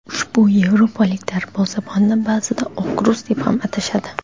Ushbu yevropalik darvozabonni ba’zida "Oq rus" deb ham atashadi.